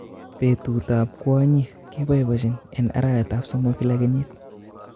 Petutap kwonyik kepoipoenchin en arawetap somok kila kenyiit